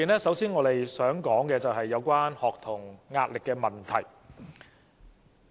首先，我想談談學童壓力的問題。